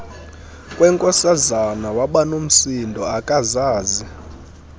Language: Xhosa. kwenkosazana wabanomsindo akazazi